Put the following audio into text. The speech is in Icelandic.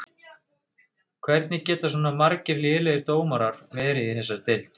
Hvernig geta svona margir lélegir dómarar verið í þessari deild?